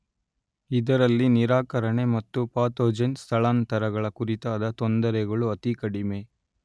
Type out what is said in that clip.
ಇದರಲ್ಲಿ ನಿರಾಕರಣೆ ಮತ್ತು ಪಾತೊಜೆನ್ ಸ್ಥಳಾಂತರಗಳ ಕುರಿತಾದ ತೊಂದರೆಗಳು ಅತಿ ಕಡಿಮೆ